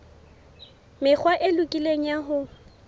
mekgwa e lokileng ya ho